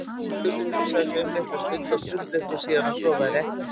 Stulli hugsaði sig um litla stund og fullyrti síðan að svo væri ekki.